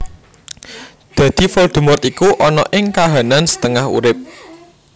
Dadi Voldemort iku ana ing kahanan setengah urip